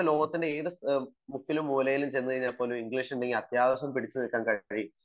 നമുക്ക് ലോകത്തിന്റെ ഏത് മൂലയിൽ ചെന്നാലും ഇംഗ്ലീഷ് ഉണ്ടെങ്കിൽ അത്യാവശ്യം പിടിച്ചു നില്ക്കാൻ കഴിയും